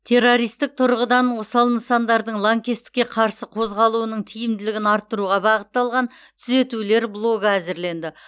террористік тұрғыдан осал нысандардың лаңкестікке қарсы қорғалуының тиімділігін арттыруға бағытталған түзетулер блогы әзірленді